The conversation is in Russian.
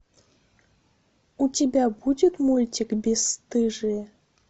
у тебя будет мультик бесстыжие